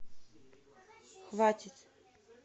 хватит